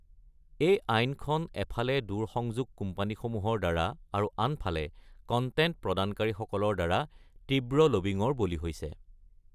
এই আইনখন এফালে দূৰসংযোগ কোম্পানীসমূহৰ দ্বাৰা আৰু আনফালে কন্টেন্ট প্ৰদানকাৰীসকলৰ দ্বাৰ তীব্ৰ লবীঙৰ বলি হৈছে।